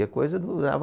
E a coisa durava